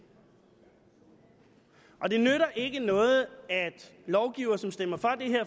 og det nytter ikke noget at lovgivere som stemmer